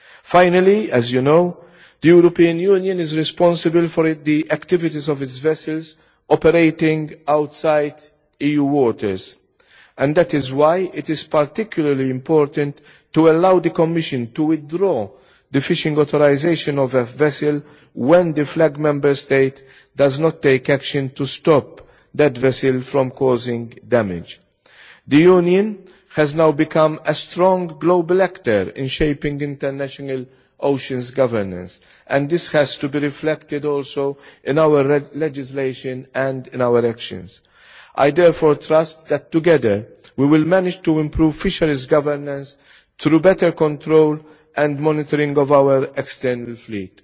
Finally, as you know, the European Union is responsible for the activities of its vessels operating outside EU waters, and that is why it is particularly important to allow the Commission to withdraw the fishing authorisation of a vessel when the flag Member State does not take action to stop that vessel from causing damage. The Union has now become a strong global actor in shaping international oceans governance, and this has to be reflected also in our legislation and in our actions. I therefore trust that together we will manage to improve fisheries governance through better control and monitoring of our extended fleet.